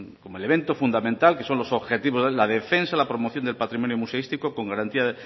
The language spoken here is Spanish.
como elemento fundamental que son los objetivos de la defensa la promoción del patrimonio museístico con garantía